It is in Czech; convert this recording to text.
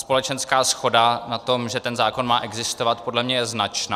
Společenská shoda na tom, že ten zákon má existovat, podle mě je značná.